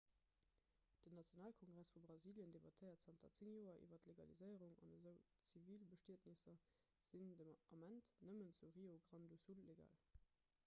den nationalkongress vu brasilien debattéiert zanter 10 joer iwwer d'legaliséierung an esou zivilbestietnesser sinn den ament nëmmen zu rio grande do sul legal